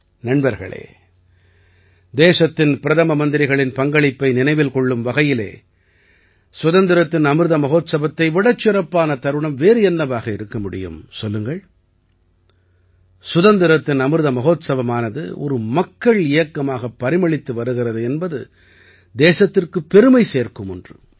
நண்பர்களே தேசத்தின் பிரதம மந்திரிகளின் பங்களிப்பை நினைவில் கொள்ளும் வகையிலே சுதந்திரத்தின் அமிர்த மஹோத்ஸவத்தை விடச் சிறப்பான தருணம் வேறு என்னவாக இருக்க முடியும் சொல்லுங்கள் சுதந்திரத்தின் அமிர்த மஹோத்ஸவமானது ஒரு மக்கள் இயக்கமாகப் பரிமளித்து வருகிறது என்பது தேசத்திற்குப் பெருமை சேர்க்கும் ஒன்று